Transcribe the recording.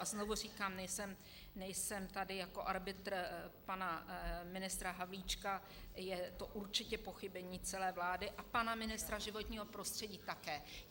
A znovu říkám, nejsem tady jako arbitr pana ministra Havlíčka, je to určitě pochybení celé vlády a pana ministra životního prostředí také.